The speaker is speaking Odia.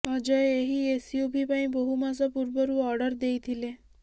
ଅଜୟ ଏହି ଏସୟୁଭି ପାଇଁ ବହୁ ମାସ ପୂର୍ବରୁ ଅର୍ଡର ଦେଇଥିଲେ